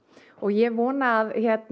og ég vona að